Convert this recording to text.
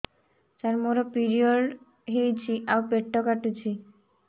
ସାର ମୋର ପିରିଅଡ଼ ହେଇଚି ଆଉ ପେଟ କାଟୁଛି